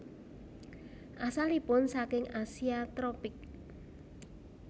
Asalipun saking Asia tropik